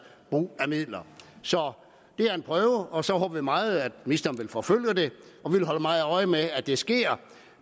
brug af midler så det er en prøve og så håber vi meget at ministeren vil forfølge det og vi vil holde meget øje med at det sker